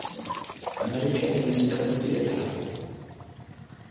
american musical theatre